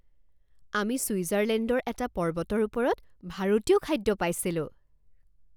আমি ছুইজাৰলেণ্ডৰ এটা পৰ্বতৰ ওপৰত ভাৰতীয় খাদ্য পাইছিলোঁ